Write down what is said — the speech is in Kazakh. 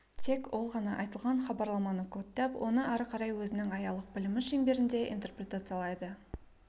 тек ол ғана айтылған хабарламаны кодтап оны ары қарай өзінің аялық білімі шеңберінде интерпретациялайды